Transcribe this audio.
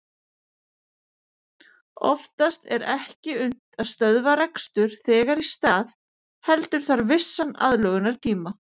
Oftast er ekki unnt að stöðva rekstur þegar í stað heldur þarf vissan aðlögunartíma.